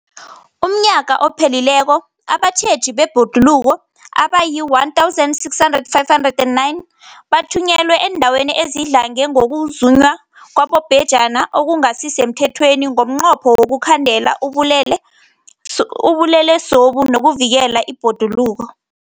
UmNnyaka ophelileko abatjheji bebhoduluko abayi-1 659 bathunyelwa eendaweni ezidlange ngokuzunywa kwabobhejani okungasi semthethweni ngomnqopho wokuyokukhandela ubulelesobu nokuvikela ibhoduluko.